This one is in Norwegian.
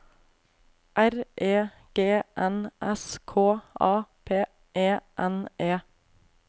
R E G N S K A P E N E